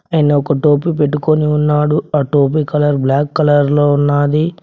ఆయన ఒక టోపి పెట్టుకోని ఉన్నాడు ఆ టోపి కలర్ బ్లాక్ కలర్ లో ఉన్నాది.